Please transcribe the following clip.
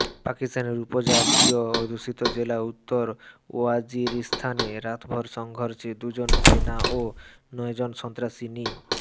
পাকিস্তানের উপজাতীয় অধ্যুষিত জেলা উত্তর ওয়াজিরিস্তানে রাতভর সংঘর্ষে দুজন সেনা ও নয়জন সন্ত্রাসী নি